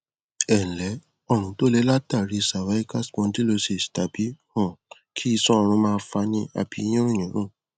ẹǹlẹ ọrùn tó le látàrí cervical spondylosis tàbí um kí isan ọrùn máa fani àbí yínrùnyínrùn